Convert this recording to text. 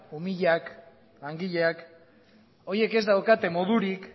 umilak langileak horiek ez daukate modurik